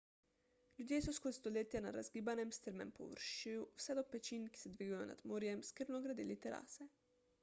ljudje so skozi stoletja na razgibanem strmem površju vse do pečin ki se dvigujejo nad morjem skrbno gradili terase